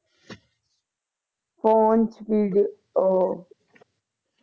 phone ਉਹ